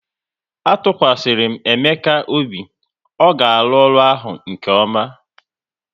A tụkwasịrị m Ekene obi, ọ ga-arụ ọrụ ahụ nke ọma